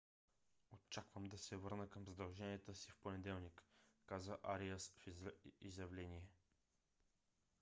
очаквам да се върна към задълженията си в понеделник каза ариас в изявление